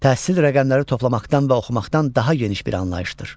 Təhsil rəqəmləri toplamaqdan və oxumaqdan daha geniş bir anlayışdır.